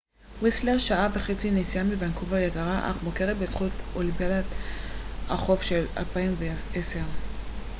ויסלר שעה וחצי נסיעה מוונקובר יקרה אך מוכרת בזכות אולימפיאדת החורף של 2010